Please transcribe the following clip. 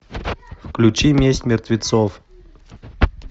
включи месть мертвецов